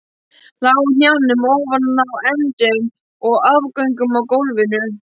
Lá á hnjánum ofan á endum og afgöngum á gólfinu.